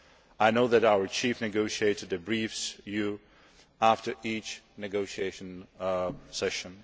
I know that our chief negotiator debriefs you after each negotiation session.